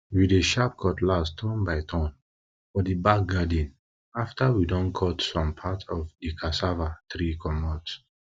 we dey sharp cutlass turn by turn for di back garden after we don cut some part of di cassava tree comot